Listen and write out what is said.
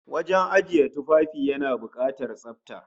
Wajen ajiye tufafi yana bukatar tsafta